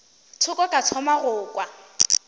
thoko ka thoma go kwa